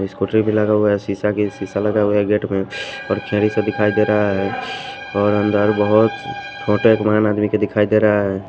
स्कूटरी भी लगा हुआ हैशीशा की शीशा लगा हुआ है गेट में और खेरी से दिखाई दे रहा है और अंदर बहुत छोटे एक महान आदमी के दिखाई दे रहा है।